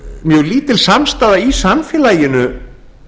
mjög lítil samstaða í samfélaginu